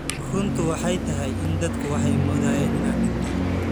Runtu waxay tahay in dadku waxay moodayeen inaan dhintay.